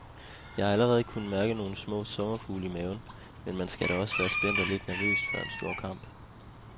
Jeg har allerede kunnet mærke nogle små sommerfugle i maven, men man skal da også være spændt og lidt nervøs før en stor kamp.